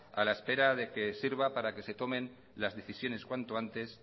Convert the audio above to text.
a la espera de que sirva para que se tomen cuanto antes las decisiones